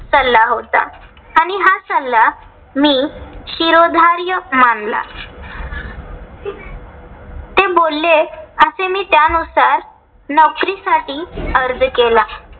सल्ला होता. आणि हा सल्ला मी शिरोधार्य मानला. ते बोलले, असे मी त्यानुसार नौकरीसाठी अर्ज केला.